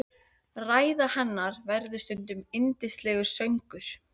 Ræða hennar verður stundum yndislegur söngur.